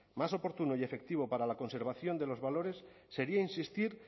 más oportuno y efectivo para la conservación de los valores sería insistir